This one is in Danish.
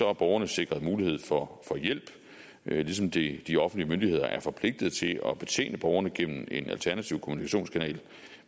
er borgerne sikret en mulighed for hjælp ligesom de de offentlige myndigheder er forpligtede til at betjene borgerne gennem en alternativ kommunikationskanal